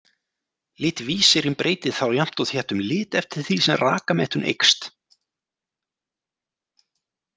Litvísirinn breytir þá jafnt og þétt um lit eftir því sem rakamettun eykst.